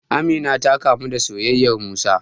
Amina ta kamu da soyayyar Musa.